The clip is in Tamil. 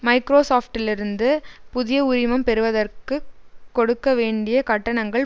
மைக்ரோசாப்டிலிருந்து புதிய உரிமம் பெறுவதற்கு கொடுக்க வேண்டிய கட்டணங்கள்